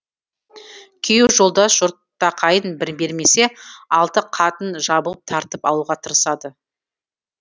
күйеу жолдас жортақайын бір бермесе алты қатын жабылып тартып алуға тырысады